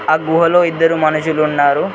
ఆ గుహలో ఇద్దరు మనుషులు ఉన్నారు.